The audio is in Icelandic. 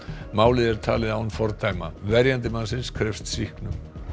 málið er talið án fordæma verjandi mannsins krefst sýknu